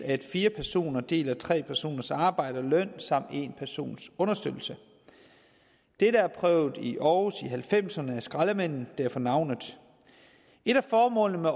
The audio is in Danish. at fire personer deler tre personers arbejde og løn samt en persons understøttelse dette er prøvet i aarhus i nitten halvfemserne af skraldemændene deraf navnet et af formålene med